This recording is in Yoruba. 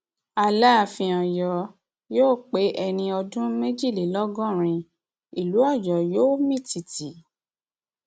alaàfin ọyọ yóò pé ẹni ọdún méjìlélọgọrin ìlú ọyọ yóò mì tìtì